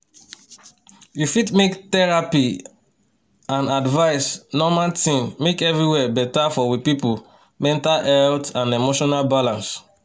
you fit make therapy and advise normal thing make everywer better for we pipu mental health and emotional balance.